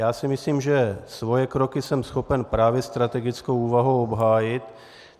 Já si myslím, že své kroky jsem schopen právě strategickou úvahou obhájit.